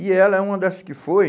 E ela é uma dessas que foi.